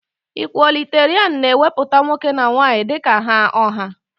Ikwọliterian na-ewepụta nwoke na nwaanyị dika ha ọha.